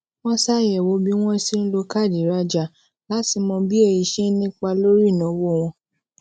wón ṣàyèwò bí wón ṣe ń lo káàdì ìrajà láti mọ bí èyí ṣe ń nípa lórí ìnáwó wọn